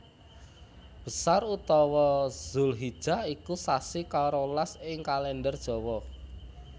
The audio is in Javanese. Besar utawa Dzulhijah iku sasi karolas ing Kalèndher Jawa